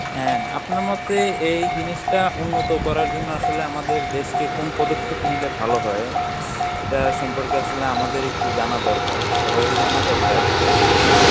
হ্যাঁ আপনার মতে এই জিনিসটা উন্নত করার জন্য আসলে আমাদের দেশকে কোন পদক্ষেপ নিলে ভালো হয় এটা সম্পর্কে আসলে আমাদের একটু জানা দরকার সবারই জানা দরকার